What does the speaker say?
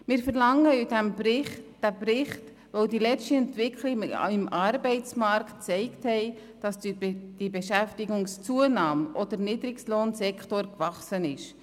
Wir verlangen diesen Bericht, weil die letzten Entwicklungen im Arbeitsmarkt gezeigt haben, dass durch die Beschäftigungszunahme auch der Niedrigstlohnsektor gewachsen ist.